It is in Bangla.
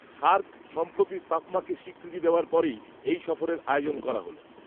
সার্ক সম্প্রতি সাফমাকে স্বীকৃতি দেওয়ার পরেই, এই সফরের আয়োজন করা হল